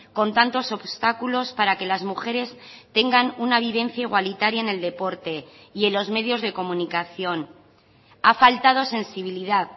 con tantos obstáculos para que las mujeres tengan una vivencia igualitaria en el deporte y en los medios de comunicación ha faltado sensibilidad